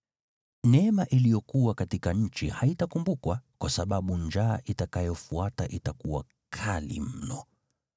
“Neema iliyokuwa katika nchi haitakumbukwa, kwa sababu njaa itakayofuata itakuwa kali mno.